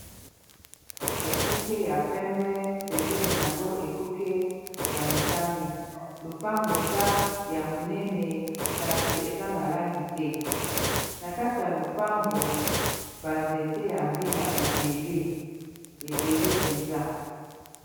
ekuke ya pembe pembeni a yango ekuke ya motane lupangu eza ya monene kasi eza na langi te na kati ya lupangu banzete ya mbila ebele ebele mpenza